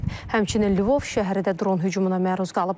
Həmçinin Lvov şəhəri də dron hücumuna məruz qalıb.